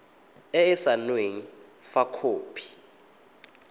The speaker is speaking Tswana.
e e saenweng fa khopi